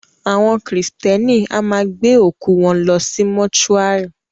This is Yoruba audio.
Àwọn kírísítẹ́nì a máa gbé òkú wọn lọ sí Mósúarì